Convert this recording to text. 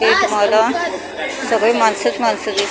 एक मादा सगळे माणसंच माणसं दिसत आहेत .